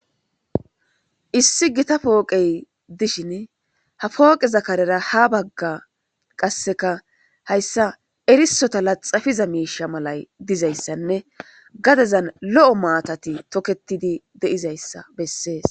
issi gita pooqey dishin ha pooqeza karera ha bagga qasseka hayssa erisota laxafiza miisha malay dizayssanne gadezan lo7o maatati toketidi de7izayssa bessees